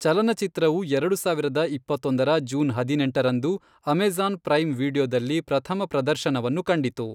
ಚಲನಚಿತ್ರವು ಎರಡು ಸಾವಿರದ ಇಪ್ಪತ್ತೊಂದರ ಜೂನ್ ಹದಿನೆಂಟರಂದು ಅಮೆಜ಼ಾನ್ ಪ್ರೈಮ್ ವೀಡಿಯೊದಲ್ಲಿ ಪ್ರಥಮ ಪ್ರದರ್ಶನವನ್ನು ಕಂಡಿತು.